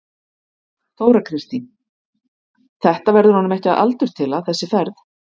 Þóra Kristín: Þetta verður honum ekki að aldurtila þessi ferð?